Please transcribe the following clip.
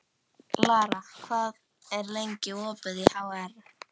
Lara, hvað er lengi opið í HR?